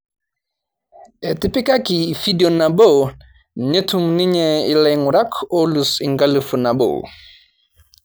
Etipikaki fidio nabo netum ninye ilaing'urak oolus enkalifu nabo